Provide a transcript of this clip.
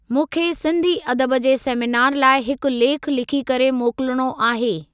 मूंखे सिंधी अदब जे सेमीनार लाइ हिकु लेखु लिखी करे मोकलणो आहे।